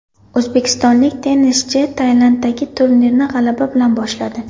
O‘zbekistonlik tennischi Tailanddagi turnirni g‘alaba bilan boshladi.